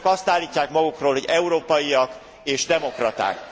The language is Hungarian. Önök azt állítják magukról, hogy európaiak és demokraták.